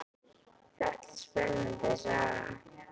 Þetta er spennandi saga.